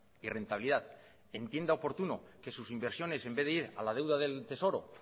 y rentabilidad entienda oportuno que sus inversiones en vez de ir a la deuda del tesoro